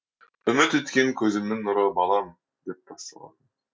үміт еткен көзімнің нұры балам деп басталатын